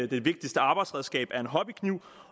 det vigtigste arbejdsredskab er en hobbykniv